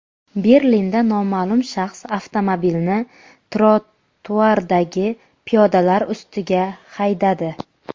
Berlinda noma’lum shaxs avtomobilni trotuardagi piyodalar ustiga haydadi.